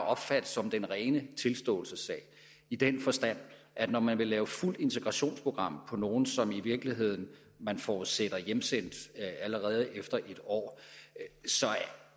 opfatte som den rene tilståelsessag i den forstand at når man vil lave fuldt integrationsprogram for nogle som man i virkeligheden forudsætter hjemsendt allerede efter en år så